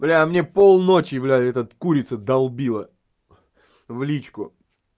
бля а мне полночи блядь эта курица долбила в личку